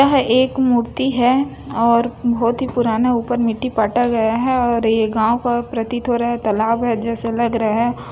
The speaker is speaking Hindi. यह एक मूर्ति है और बहोत ही पुराना ऊपर मिट्टी पाटा गया है और ऐ गाव का पृतिकरा तालाब है जैसे लग रहा है।